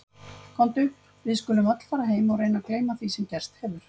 Komdu, við skulum öll fara heim og reyna að gleyma því sem gerst hefur.